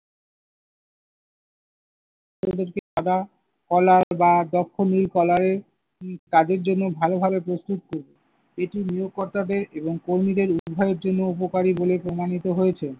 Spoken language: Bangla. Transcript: প্রযুক্তি caller বা যখনি caller এর উম তাদের জন্য ভালোভাবে প্রস্তুত এটি নিয়োগকর্তাদের এবং কর্মীদের উভয়ের জন্য উপকারী বলে প্রমাণিত হয়েছে।